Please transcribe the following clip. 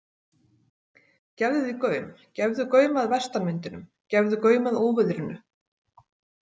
Gefðu því gaum, gefðu gaum að vestanvindinum, gefðu gaum að óveðrinu.